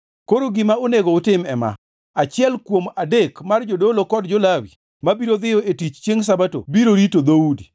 Koro gima onego utim ema: Achiel kuom adek mar jodolo kod jo-Lawi mabiro dhiyo e tich chiengʼ Sabato biro rito dhoudi,